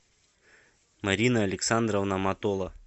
марина александровна матола